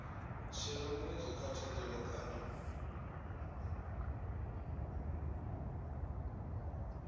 shela mulenzhe kha thandela kana